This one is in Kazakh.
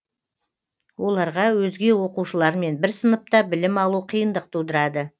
оларға өзге оқушылармен бір сыныпта білім алу қиындық тудырады